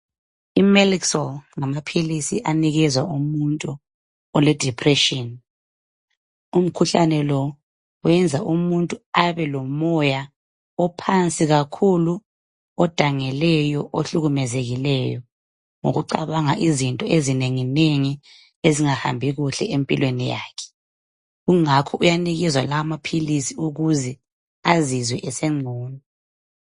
Imelixol ngamaphilisi anikezwa umuntu oledepression. Umkhuhlane lo wenza ukuthi umuntu abelomoya ophansi kakhulu, odangeleyo, ohlukumezekileyo ngokucabanga izinto ezinenginengi ezingahambi kuhle empilweni yakhe kungakho uyanikezwa lawo maphilisi ukuze azizwe esengcono.